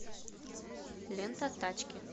лента тачки